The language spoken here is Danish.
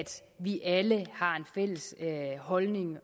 vi alle har en fælles holdning